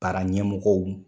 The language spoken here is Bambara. Baara ɲɛmɔgɔw